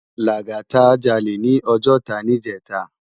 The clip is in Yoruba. Lagata jàlé ni Òjòtá nijètá